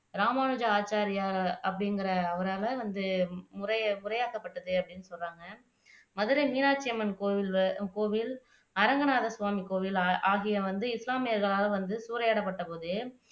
ராமானுஜ ஆச்சாரியார் அப்படிங்கிற அவரால வந்து முறை முறையாக்கப்பட்டது அப்படின்னு சொல்றாங்க மதுரை மீனாட்சியம்மன் கோவில், அரங்கநாதர் சுவாமி கோவில் ஆகியவை வந்து இஸ்லாமியர்களால் வந்து சூறையாடப்பட்டபோது